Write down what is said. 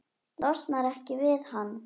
Losnar ekki við hann.